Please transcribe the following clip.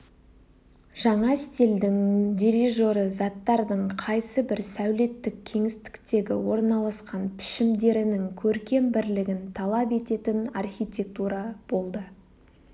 жаңа стильдің дирижері заттардың қайсыбір сәулеттік кеңістіктегі орналасқан пішімдерінің көркем бірлігін талап ететін архитектура болды